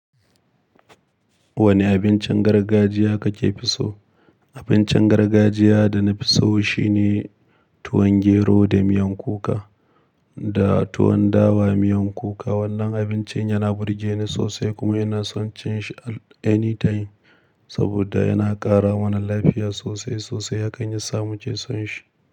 Wani abincin gargajiya kake fi so? Abincin gargajiya da nafi so shine tuwon gero da miyan kuka da tuwon dawa miyan kuka. Wannan abincin yana burge ni sosai kuma ina son cin shi anytime, saboda yana ƙara mana lafiya sosai sosai, hakan yasa muke son shi.